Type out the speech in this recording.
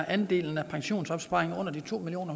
andelen af pensionsopsparinger under to million